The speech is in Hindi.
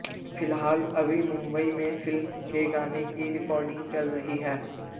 फिलहाल अभी मुंबई में फिल्म के गाने की रिकॉडिंग चल रही है